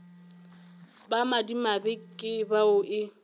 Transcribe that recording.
ba madimabe ke bao e